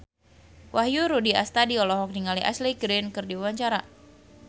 Wahyu Rudi Astadi olohok ningali Ashley Greene keur diwawancara